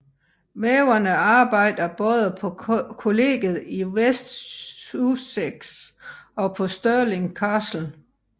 Væverne arbejder både på Colleget i West Sussex og på Stirling Castle